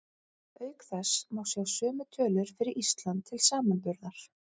Auk þess má sjá sömu tölur fyrir Ísland til samanburðar.